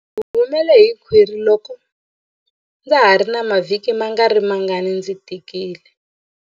Ndzi humele hi khwiri loko ndza ha ri na mavhiki mangarimangani ndzi tikile.